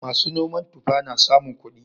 Masu noman tufa na samun kuɗi.